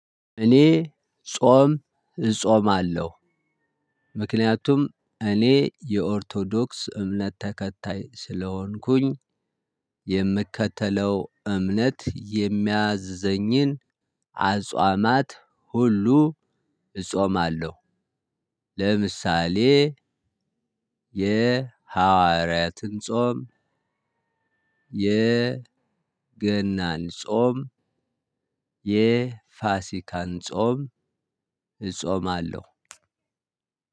እኔ ጾም እጾማለሁ። ምክንያቱም እኔ የኦርቶዶክስ እምነት ተከታይ ስለሆንኩኝ። የምከተለው እምነት የሚያዝዘኝን አጿማት ሁሉ እጾማለሁ። ለምሳሌ የሐዋርያትን ጾም የገናን ጾም የፋሲካን ጾም እጾማለሁ።